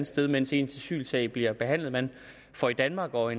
sted mens ens asylsag bliver behandlet man får i danmark og